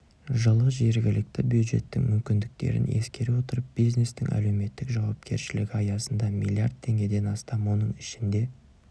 жылы жергілікті бюджеттің мүмкіндіктерін ескере отырып бизнестің әлеуметтік жауапкершілігі аясында миллиард теңгеден астам оның ішінде